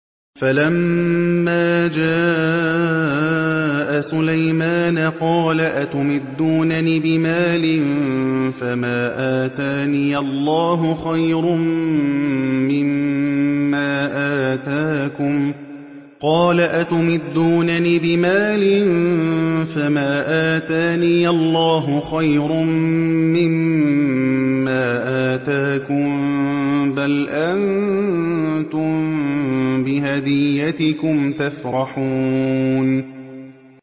فَلَمَّا جَاءَ سُلَيْمَانَ قَالَ أَتُمِدُّونَنِ بِمَالٍ فَمَا آتَانِيَ اللَّهُ خَيْرٌ مِّمَّا آتَاكُم بَلْ أَنتُم بِهَدِيَّتِكُمْ تَفْرَحُونَ